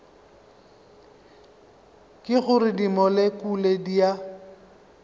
ke gore dimolekule di a